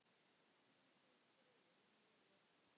Hvíl þú í friði, ljúfur.